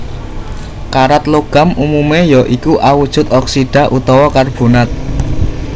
Karat logam umumé ya iku awujud oksida utawa karbonat